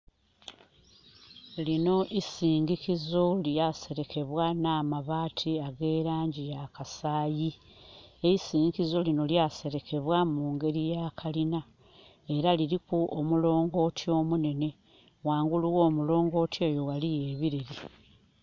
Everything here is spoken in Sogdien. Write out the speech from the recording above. Linho isindhikizo lya selekebwa nh'amabaati ag'elangi ya kasayi. Eisindhikizo linho lya selekebwa mu ngeri ya kalina. Era liliku omulongooti omunhenhe. Ghangulu gho omulongooti eyo ghaliyo ebileli.